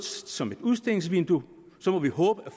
som et udstillingsvindue og så må vi håbe at